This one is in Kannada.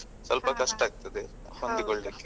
ಸ್ವಲ್ಪ ಕಷ್ಟ ಆಗ್ತದೆ ಹೊಂದಿಕೊಳ್ಳಿಕ್ಕೆ.